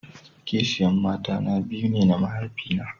Kisiya mata na biyu ne na mahaifi na.